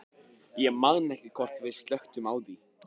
Ég man ekki hvort við slökktum á því.